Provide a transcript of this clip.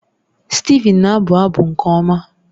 Steven na-abụ abụ nke ọma